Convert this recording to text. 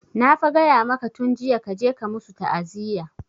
Na fa gaya maka tun jiya kaje ka musu ta'aziya!